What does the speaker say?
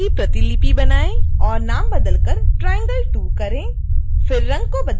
layer की प्रतिलिपि बनाएँ और नाम बदल कर triangle2 करें